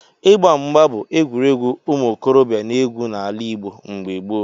Ịgba mgba bụ egwuregwu ụmụ okorobịa na-egwu n'ala Igbo mgbe gboo.